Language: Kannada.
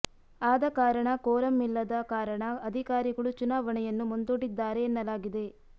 ಆದ ಕಾರಣ ಕೋರಂ ಇಲ್ಲದ ಕಾರಣ ಅಧಿಕಾರಿಗಳು ಚುನಾವಣೆಯನ್ನು ಮುಂದೂಡಿದ್ದಾರೆ ಎನ್ನಲಾಗಿದೆ